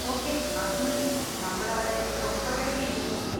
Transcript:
Okay, അത് മതി, നമ്മളവിടെ ഒരു ഒമ്പതരയ്‌ക്കെങ്കിലും എത്തും.